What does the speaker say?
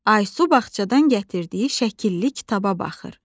Aysu bağçadan gətirdiyi şəkillik kitaba baxır.